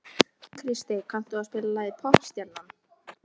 Kristey, kanntu að spila lagið „Poppstjarnan“?